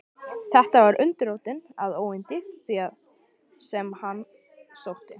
Þetta var undirrótin að óyndi því, sem á hann sótti.